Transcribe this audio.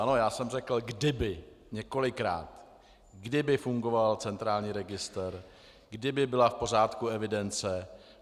Ano, já jsem řekl kdyby několikrát, kdyby fungoval centrální registr, kdyby byla v pořádku evidence.